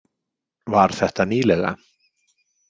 Var þetta nýlega?